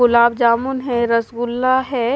गुलाब जामुन है रसगुला है--